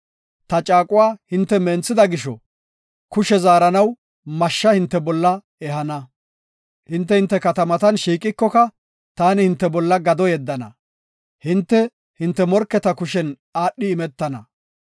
Ta caaquwa hinte menthida gisho, kushe zaaranaw mashsha hinte bolla ehana. Hinte, hinte katamatan shiiqikoka, taani hinte bolla gado yeddana. Hinte, hinte morketa kushen aadhidi imetana.